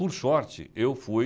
Por sorte, eu fui...